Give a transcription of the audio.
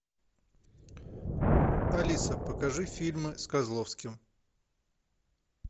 алиса покажи фильмы с козловским